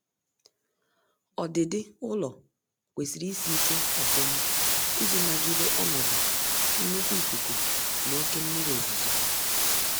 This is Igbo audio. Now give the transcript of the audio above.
Ọdịdị ụlọ kwesịrị isị ike ofuma iji nagide ọnọdụ nnkwu ikuku na oke mmiri ozuzo